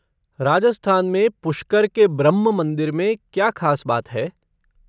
राजस्थान में पुष्कर के ब्रह्म मंदिर में क्या खास बात है?